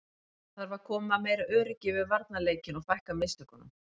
Það þarf að koma meira öryggi yfir varnarleikinn og fækka mistökunum.